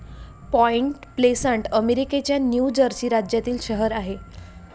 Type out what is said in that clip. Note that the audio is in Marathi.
पाँइट प्लेसंट अमेरिकेच्या न्यु जर्सी राज्यातील शहर आहे.